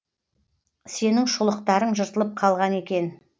сенің шұлықтарың жыртылып қалған екен